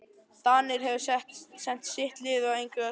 Danir hefðu sent sitt lið engu að síður.